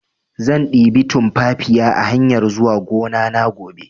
Zan ɗebi tunfafiya a hanyar zuwa gonana gobe